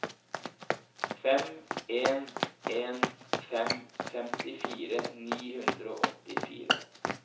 fem en en fem femtifire ni hundre og åttifire